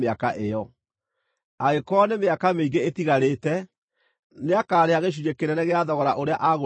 Angĩkorwo nĩ mĩaka mĩingĩ ĩtigarĩte, nĩakarĩha gĩcunjĩ kĩnene gĩa thogora ũrĩa aagũrĩtwo naguo.